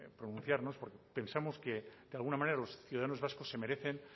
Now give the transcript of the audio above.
pronunciarnos porque pensamos que de alguna manera los ciudadanos vascos se merecen